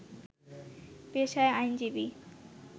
পেশায় আইনজীবী